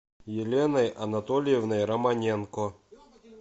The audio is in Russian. еленой анатольевной романенко